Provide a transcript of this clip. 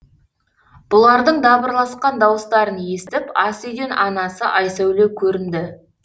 бұлардың дабырласқан дауыстарын естіп ас үйден анасы айсәуле көрінді